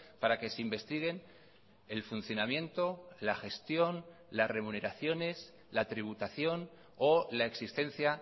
para que se investiguen el funcionamiento la gestión las remuneraciones la tributación o la existencia